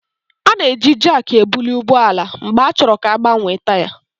A na-eji Jaakị ebuli ụgbọ ala mgbe a chọrọ ka a gbanwee taya